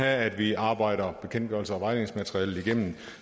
at vi arbejder bekendtgørelsen og vejledningsmaterialet igennem